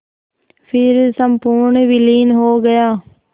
फिर संपूर्ण विलीन हो गया